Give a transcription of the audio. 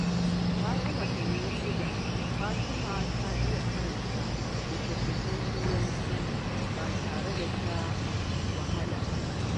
Bayan watanni shida, Fatima ta iya karanta littattafan Turanci ba tare da wahala ba.